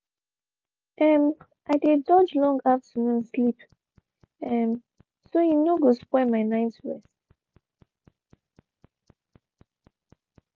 um i dey dodge long afternoon sleep um so e no go spoil my night rest.